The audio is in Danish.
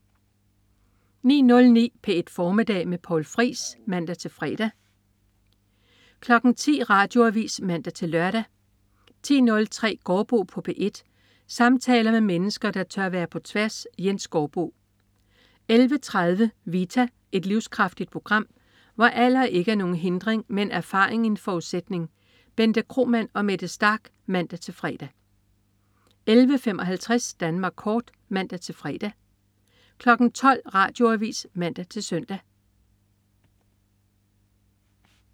09.09 P1 Formiddag med Poul Friis (man-fre) 10.00 Radioavis (man-lør) 10.03 Gaardbo på P1. Samtaler med mennesker, der tør være på tværs. Jens Gaardbo 11.30 Vita. Et livskraftigt program, hvor alder ikke er nogen hindring, men erfaring en forudsætning. Bente Kromann og Mette Starch (man-fre) 11.55 Danmark kort (man-fre) 12.00 Radioavis (man-søn)